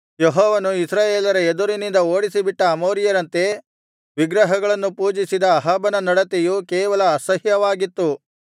ಯೆಹೋವನು ಇಸ್ರಾಯೇಲರ ಎದುರಿನಿಂದ ಓಡಿಸಿಬಿಟ್ಟ ಅಮೋರಿಯರಂತೆ ವಿಗ್ರಹಗಳನ್ನು ಪೂಜಿಸಿದ ಅಹಾಬನ ನಡತೆಯು ಕೇವಲ ಅಸಹ್ಯವಾಗಿತ್ತು